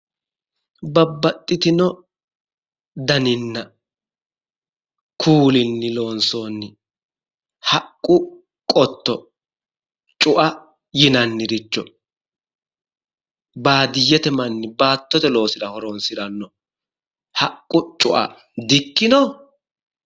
Babbaxxitino daninna kuulinni loonsoonni haqqu qotto cu"a yinanniricho baadiyyete manni baattote loosira horonsiranno haqqu cu"a dikkino?